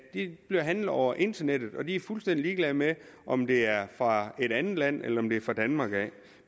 bliver handlet over internettet og køberne er fuldstændig ligeglade med om det er fra et andet land eller om det er fra danmark